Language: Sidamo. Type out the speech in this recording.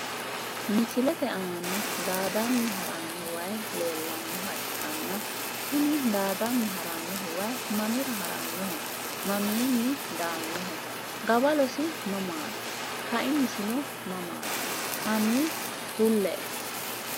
Misilete aana daadani harano wayi leelanoha ikkanna kuni daadani haranohu wayi mamira haranoho mamiini daanoho gawalosi mamaati kaimisino mamaati hani kulle.